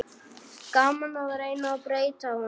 Gaman að reyna að breyta honum.